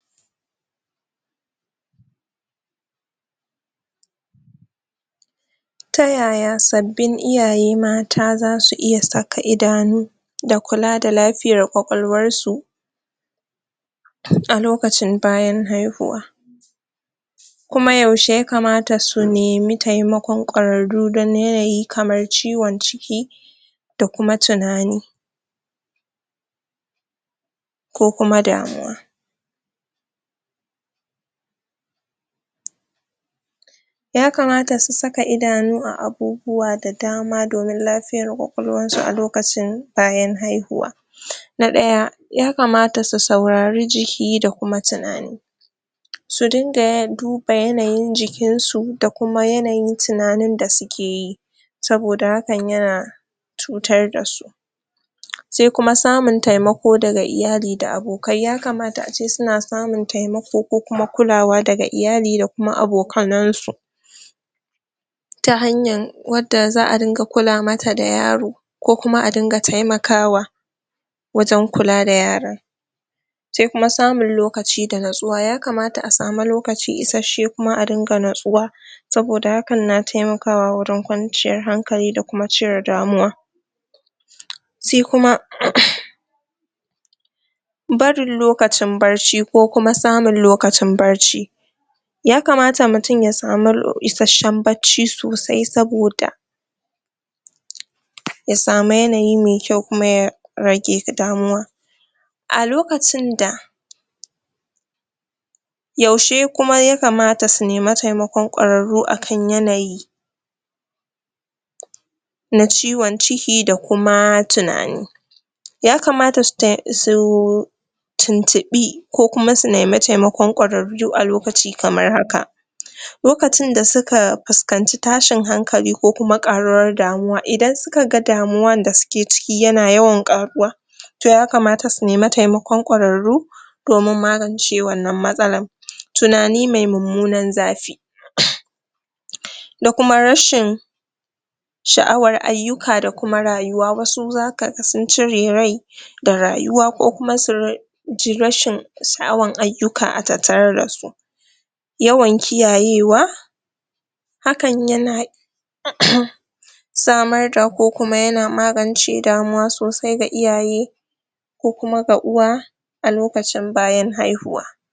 Ta yaya sabbin iyaye mata za su iya saka idanu da kula da lafiyar kwakwalwarsu? a lokacin bayan haihuwa kuma yaushe ya kamata su nemi taimakon kwararru don yanayi kamar ciwon ciki da kuma tunani? ko kuma damuwa?? ya kamata su saka idanu a abubuwa da dama domin lafiyar kwakwalwarsu a lokacin bayan haihuwa na ɗaya ya kamata su saurari jiki da kuma tunani su dunga ya duba yanayin jikinsu da kuma yanayin tunanin da suke yi saboda hakan yana cutar da su sai kuma samun taimako daga iyali da abokai ya kamata ace suna samun taimako ko kuma kulawa daga lyali da kuma abokannansu ta hanyar wadda za ringa kula mata da yaro ko kuma a dinga taimakawa wajen kula da yaron sai kuma samun lokaci da nutsuwa ya kamata ace a samu lokaci isasshe kuma a dinga nustuwa saboda hakan na taimakawa wajen kwanciyar hankali da da kuma cire damuwa? sai kuma? barin lokacin barci ko kuma samun lokacin barci ya kamata mutum ya samu lo isasshen bacci sosai saboda? ya samu yanayi me kyau kuma ya rage damuwa a lokacin da yaushe kuma ya kamata su nemi taimakon kwararru akan yanayi na ciwon ciki da kuma tunani? ya kamata su tai? su tuntuɓi ko kuma su nemi taimakon kwararru a lokaci kamar haka: lokacin da suka fuskanci tashin hankali ko kuma ƙaruwar damuwa, idan suka ga damuwar da suke ciki yana yawan ƙaruwa to ya kamata su nemi taimakon kwararru domin magance wannan matsalar tunani me mummunan zafi?? da kuma rashin sha'war ayyuka da kuma rayuwa wasu zaka ga sun cire rai da rayuwa ko kuma su ji rashin sha'awar ayyuka a tattare da su yawan kiyayewa hakan yana? samar da ko kuma yana magance damuwa sosai ga iyaye ko kuma gwaɗuwa a lokacin bayan haihuwa